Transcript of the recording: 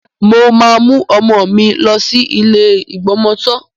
Mo máa mú ọmọ mi lọ sí ilé ìgbọmọtọ́.